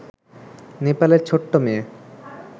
নেপালের ছোট্ট মেয়ে